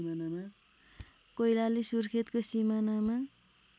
कैलाली सुर्खेतको सिमानामा